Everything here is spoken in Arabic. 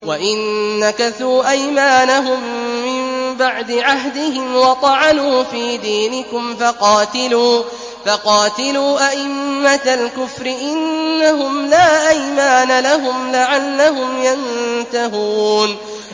وَإِن نَّكَثُوا أَيْمَانَهُم مِّن بَعْدِ عَهْدِهِمْ وَطَعَنُوا فِي دِينِكُمْ فَقَاتِلُوا أَئِمَّةَ الْكُفْرِ ۙ إِنَّهُمْ لَا أَيْمَانَ لَهُمْ لَعَلَّهُمْ يَنتَهُونَ